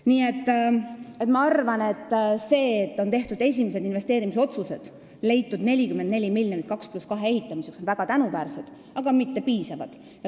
Nii et ma arvan, et see, et on tehtud esimesed investeerimisotsused ja leitud 44 miljonit 2 + 2 rea ehitamiseks, on väga tänuväärne, aga mitte piisav.